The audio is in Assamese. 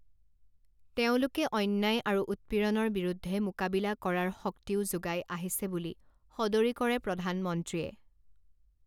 তেওঁলোকে অন্যায় আৰু উৎপীড়ণৰ বিৰুদ্ধে মোকাবিলা কৰাৰ শক্তিও যোগাই আহিছে বুলি সদৰি কৰে প্ৰধানমন্ত্ৰীয়ে।